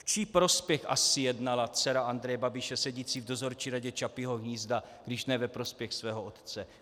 V čí prospěch asi jednala dcera Andreje Babiše, sedící v dozorčí radě Čapího hnízda, když ne ve prospěch svého otce?